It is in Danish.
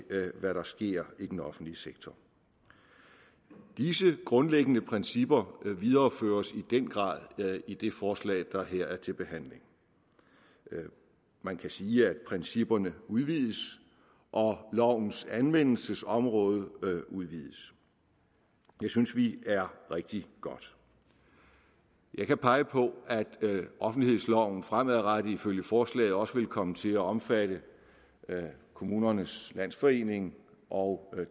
med hvad der sker i den offentlige sektor disse grundlæggende principper videreføres i den grad i det forslag der her er til behandling man kan sige at principperne udvides og lovens anvendelsesområde udvides det synes vi er rigtig godt jeg kan pege på at offentlighedsloven fremadrettet ifølge forslaget også vil komme til at omfatte kommunernes landsforening og